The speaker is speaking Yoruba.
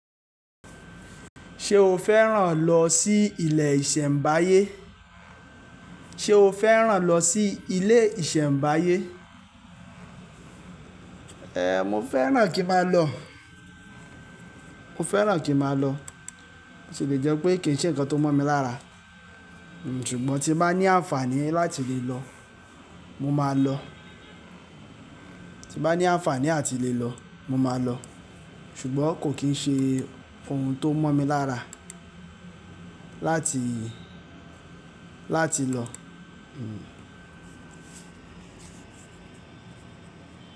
Ṣé o fẹ́ràn lọ sí ilé ìṣẹ̀mbáyé? Ṣé o fẹ́ràn lọ sí ilé ìṣẹ̀mbáyé? Ehn, mo fẹ́ràn kí n máa lọ. Mo fẹ́ràn kí n máa lọ ṣùgbọ́n boti le jẹ́ pé kì í ṣe nǹkan tó mọ́ mi lára. Sugbọn tí n bá ní àǹfààní láti lè lọ, mo máa lọ. Tí bá ní àǹfààní láti lè lọ, mo máa lọ ṣùgbọ́n kò kín ṣe ohun tó mọ́ mi lára láti, láti lọ. Hmm.